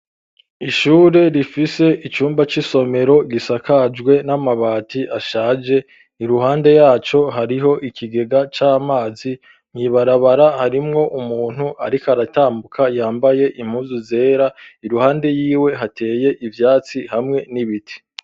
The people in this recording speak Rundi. Ishure rifise icumba c'isomero gisakajwe n'amabati ashaje ni ruhande yaco hariho ikigega c'amazi mwibarabara harimwo umuntu, ariko aratambuka yambaye impuzu zera iruhande yiwe hateye ivyatsi hamwe n'ibiti.